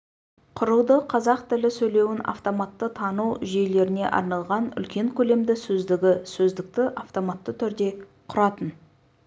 құрылды қазақ тілі сөйлеуін автоматты тану жүйелеріне арналған үлкен көлемді сөздігі сөздікті автоматты түрде құратын